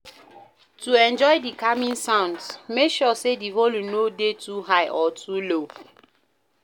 To enjoy di calming sounds make sure say di volume no de too high or too low